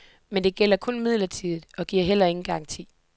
Men det gælder kun midlertidigt, og giver heller ingen garanti.